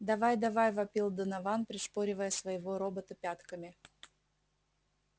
давай давай вопил донован пришпоривая своего робота пятками